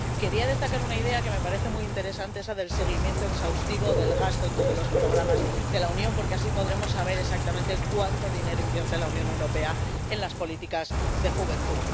Quería destacar una idea que me parece muy interesante, que es la del seguimiento exhaustivo del gasto en todos los programas de la Unión, porque así podremos saber exactamente cuánto dinero invierte la Unión Europea en las políticas de juventud.